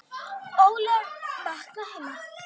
ólög vakna heima.